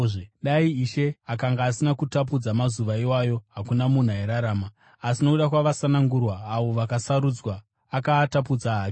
Dai Ishe akanga asina kutapudza mazuva iwayo, hakuna munhu airarama. Asi nokuda kwavasanangurwa, avo vaakasarudza, akaatapudza hake.